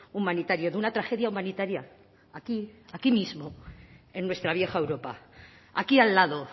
humanitario de una tragedia humanitaria aquí aquí mismo en nuestra vieja europa aquí al lado